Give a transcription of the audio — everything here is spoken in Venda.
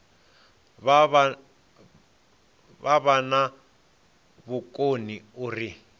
vha vha na vhukoni uri